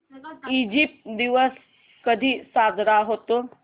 Egypt दिवस कधी साजरा होतो